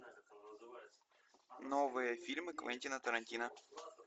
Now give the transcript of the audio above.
новые фильмы квентина тарантино